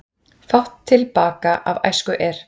Fátt til baka af æsku er,